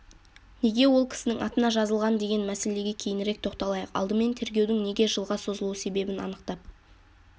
неге ол кісінің атына жазылған деген мәселеге кейінірек тоқталайық алдымен тергеудің неге жылға созылу себебін анықтап